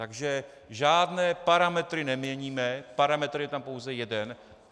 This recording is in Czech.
Takže žádné parametry neměníme, parametr je tam pouze jeden.